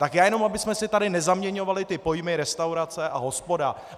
Tak já jenom abychom si tady nezaměňovali ty pojmy restaurace a hospoda.